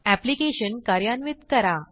application कार्यान्वित करा